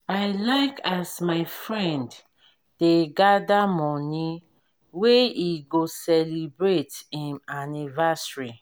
i like as my friend dey gather money wey he go celebrate him anniversary